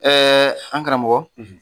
Ɛɛ an karamɔgɔ